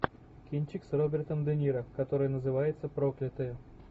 кинчик с робертом де ниро который называется проклятые